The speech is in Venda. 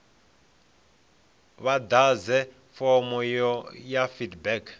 vha ḓadze fomo ya feedback